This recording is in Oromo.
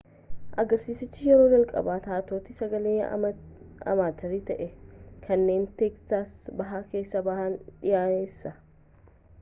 agarsiisichi yeroo jalqabaa taatota sagalee amaaterii ta'an kanneen teeksaas bahaa keessaa ba'an dhiyeesse